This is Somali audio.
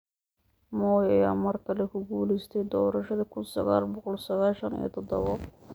Moi ayaa mar kale ku guuleystay doorashadii kuun sagal boqol sagashan iyo todabo.